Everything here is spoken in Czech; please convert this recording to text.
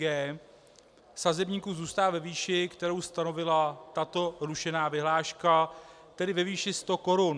g) sazebníku zůstal ve výši, kterou stanovila tato rušená vyhláška, tedy ve výši 100 korun.